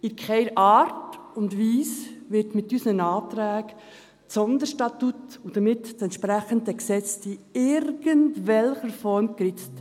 In keiner Art und Weise wird mit unseren Anträgen das Sonderstatut und damit das entsprechende Gesetz in irgendwelcher Form geritzt.